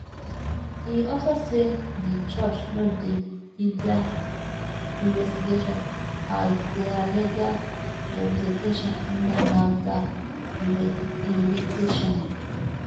e also say di church no dey hinder investigation as dia legal representation honour nafdac invitation